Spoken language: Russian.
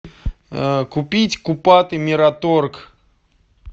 купить купаты мираторг